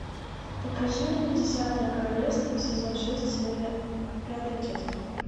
покажи мне десятое королевство сезон шесть серия пятая часть